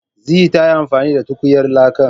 Zee ta yi amfani da tukunyar lakan